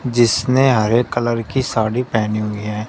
जिसने हरे कलर की साड़ी पहनी हुई है।